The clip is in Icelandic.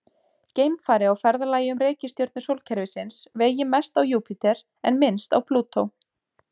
Geimfari á ferðalagi um reikistjörnur sólkerfisins vegi mest á Júpíter en minnst á Plútó.